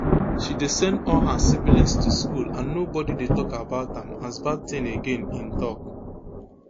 she dey send all her siblings to school and nobody dey tok about am as bad tin again im tok